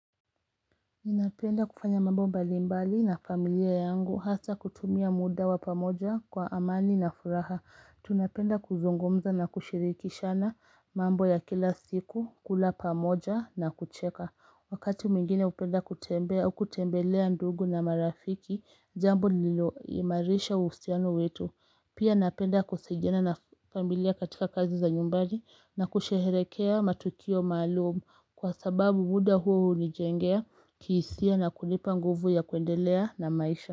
Ninapenda kufanya mambo mbalimbali na familia yangu hasa kutumia muda wa pamoja kwa amani na furaha. Tunapenda kuzungumza na kushirikishana mambo ya kila siku, kula pamoja na kucheka. Wakati mwingine hupenda kutembea kutembelea ndugu na marafiki, jambo lililoimarisha uhusiano wetu. Pia napenda kusaidiana na familia katika kazi za nyumbani na kusherehekea matukio malumu kwa sababu muda huo hunijengea kihisia na kunipa nguvu ya kuendelea na maisha.